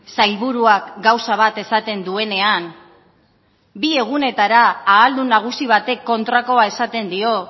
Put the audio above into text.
sailburuak gauza bat esaten duenean bi egunetara ahaldun nagusi batek kontrakoa esaten dio